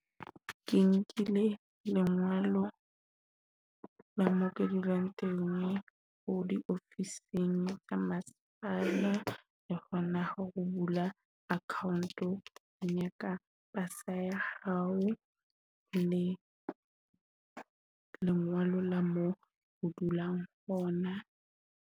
Ke nkile lengolo la mo ke dulang teng ko diofising tsa masepala le hona ho la account yaka pasa ya hao le lengolo la mo o dulang hona.